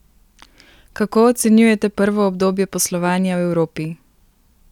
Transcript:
Kako ocenjujete prvo obdobje poslovanja v Evropi?